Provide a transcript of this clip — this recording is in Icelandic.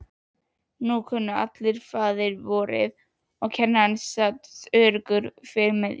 Nú kunnu allir faðirvorið og kennarinn sat öruggur fyrir miðju.